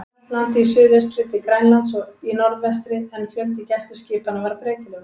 Hjaltlandi í suðaustri til Grænlands í norðvestri, en fjöldi gæsluskipanna var breytilegur.